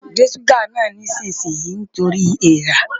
Gbé ṣúgà náà nísinsìnyí nítorí èèra!